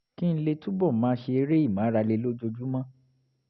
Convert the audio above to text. kí n lè túbọ̀ máa ṣe eré ìmárale lójoojúmọ́